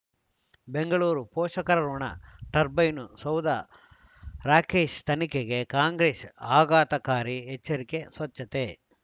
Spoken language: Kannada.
ಬೆಂಗಳೂರು ಪೋಷಕರಋಣ ಟರ್ಬೈನು ಸೌಧ ರಾಕೇಶ್ ತನಿಖೆಗೆ ಕಾಂಗ್ರೆಸ್ ಆಘಾತಕಾರಿ ಎಚ್ಚರಿಕೆ ಸ್ವಚ್ಛತೆ